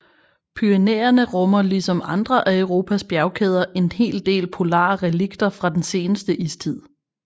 Pyrenæerne rummer ligesom andre af Europas bjergkæder en hel del polare relikter fra den seneste istid